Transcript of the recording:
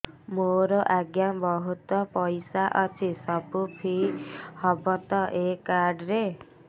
ମୋର ଆଜ୍ଞା ବହୁତ ପଇସା ଅଛି ସବୁ ଫ୍ରି ହବ ତ ଏ କାର୍ଡ ରେ